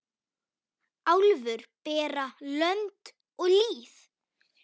Álfur bera lönd og lýð.